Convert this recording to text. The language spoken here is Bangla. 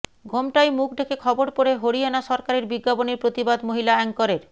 ঘোমটায় মুখ ঢেকে খবর পড়ে হরিয়ানা সরকারের বিজ্ঞাপনের প্রতিবাদ মহিলা অ্যাঙ্করের